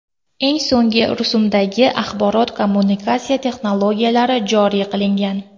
Eng so‘nggi rusumdagi axborot-kommunikatsiya texnologiyalari joriy qilingan.